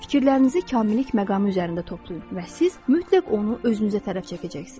Fikirlərinizi kamillik məqamı üzərində toplayın və siz mütləq onu özünüzə tərəf çəkəcəksiniz.